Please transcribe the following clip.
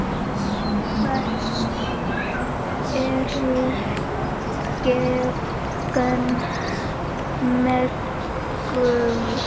Hvers eru gen megnug?